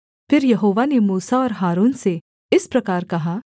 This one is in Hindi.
फिर यहोवा ने मूसा और हारून से इस प्रकार कहा